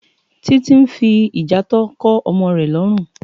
Titi n fi ijàátò kò òmò rè lòrún